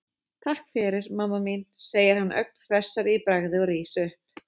Takk fyrir, mamma mín, segir hann ögn hressari í bragði og rís upp.